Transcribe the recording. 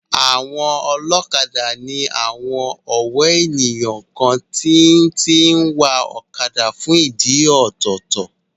Àwọn ọlọ́kadà ní àwon ọ̀wọ́ ènìyàn kan tí tí ń wa ọ̀kadà fún ìdí ọ̀tọ̀ọ̀tọ̀